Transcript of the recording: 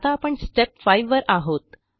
आता आपण स्टेप 5 वर आहोत